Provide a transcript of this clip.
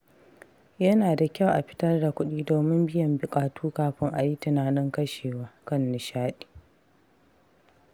Yana da kyau a fitar da kuɗi domin biyan buƙatu kafin a yi tunanin kashewa kan nishaɗi.